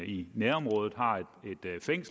i nærområdet